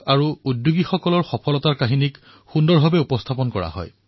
যিদৰে thepositiveindiacom য়ে সমাজত ধনাত্মক খবৰ প্ৰদান কৰি সমাজক অধিক সংবেদনশীল কৰাৰ প্ৰয়াস কৰিছে